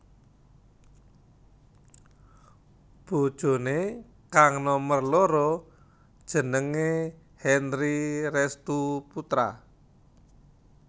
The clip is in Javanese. Bojoné kang nomer loro jenengé Henry Restoe Poetra